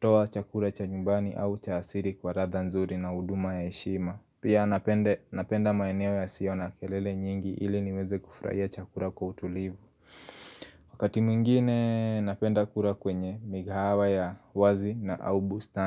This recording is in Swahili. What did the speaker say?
toa chakula cha nyumbani au cha asili kwa ladha nzuri na huduma ya heshima Pia napenda napenda maeneo yasio na kelele nyingi ili niweze kufurahia chakula kwa utulivu Wakati mwingine napenda kula kwenye mikahawa ya wazi na au bustani.